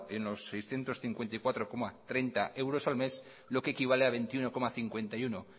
en los seiscientos cincuenta y cuatro coma treinta euros al mes lo que equivale a veintiuno coma cincuenta y uno